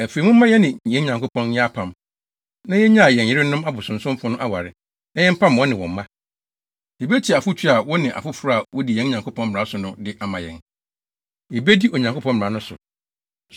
Afei, momma yɛne yɛn Nyankopɔn nyɛ apam, na yennyaa yɛn yerenom abosonsomfo no aware, na yɛmpam wɔne wɔn mma. Yebetie afotu a wo ne afoforo a wodi yɛn Nyankopɔn mmara so no de ama yɛn. Yebedi Onyankopɔn mmara no so.